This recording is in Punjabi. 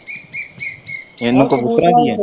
ਇਹਨੂੰ ਕਬੂਤਰਾਂ ਦੀ ਹੈ?